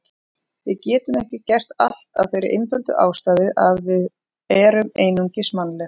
Við getum ekki gert allt af þeirri einföldu ástæðu að við erum einungis mannleg.